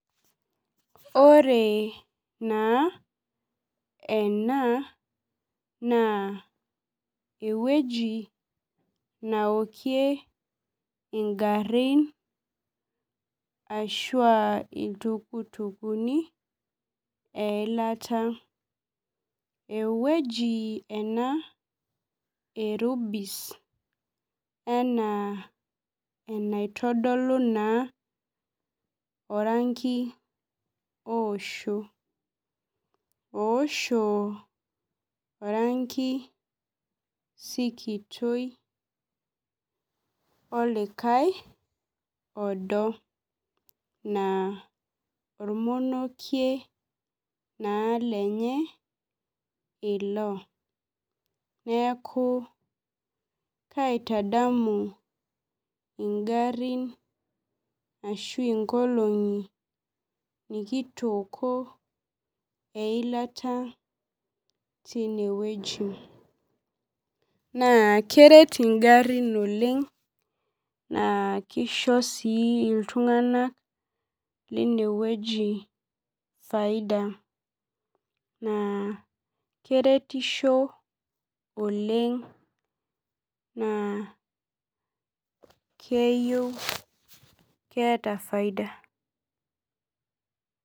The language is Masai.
Ore naa ena, naa ewueji naokie igarrin ashua iltukutukuni eilata. Ewueji ena e Rubis enaa enaitodolu naa oranki osho. Oosho oranki sikitoi, olikae odo. Naa ormonokie naa lenye ilo. Neeku, kaitadamu igarrin ashu inkolong'i nikitooko eilata tinewueji. Naa keret igarrin oleng, naa kisho si iltung'anak linewueji faida. Naa keretisho oleng, naa keyieu keeta faida.